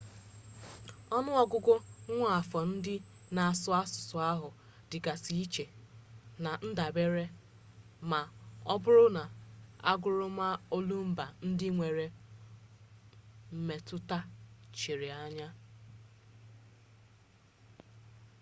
onu ogugu nwaafọ ndị na-asụ asusu ahụ dịgasị iche na-ndabere na ma ọ bụrụ na aguru ma olumba ndị nwere mmetụta chiri anya